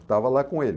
Estava lá com ele.